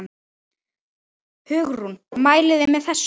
Hugrún: Mælið þið með þessu?